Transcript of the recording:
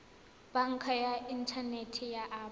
banka ya inthanete ya absa